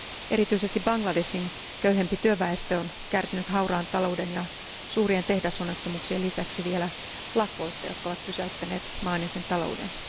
Erityisesti Bangladeshin köyhempi työväestö on kärsinyt hauraan talouden ja suurien tehdasonnettomuuksien lisäksi vielä lakoista, jotka ovat pysäyttäneet maan ja sen talouden.